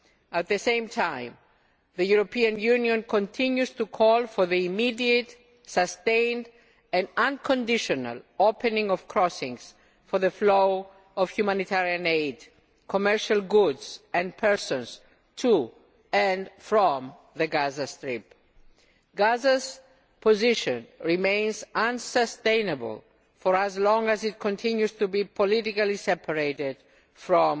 At the same time, it also continues to call for the immediate, sustained and unconditional opening of crossings for the flow of humanitarian aid, commercial goods and persons to and from the Gaza Strip. Gaza's position remains unsustainable for as long as it continues to be politically separated